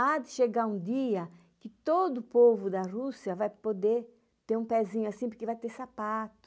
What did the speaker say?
Há de chegar um dia que todo povo da Rússia vai poder ter um pezinho assim porque vai ter sapato.